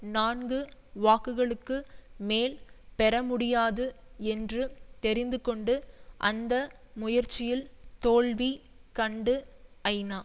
நான்கு வாக்குகளுக்கு மேல் பெறமுடியாது என்று தெரிந்துகொண்டு அந்த முயற்சியில் தோல்வி கண்டு ஐநா